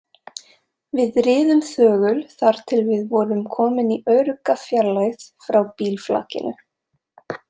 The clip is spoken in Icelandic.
Við riðum þögul þar til við vorum kominn í örugga fjarlægð frá bílflakinu.